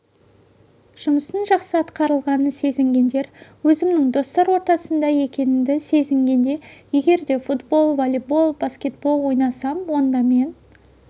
жұмыстың жақсы атқарылғанын сезінгендер өзімнің достар ортасында екенімді сезінгенде егер де футбол волейбол баскетбол ойнасам онда мен